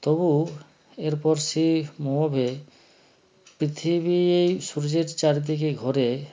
তবু এরপর সি মোহোবে পৃথিবী সূর্যের চারদিকে ঘোরে